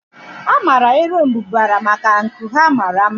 A maara erombubara maka nku ha mara mma.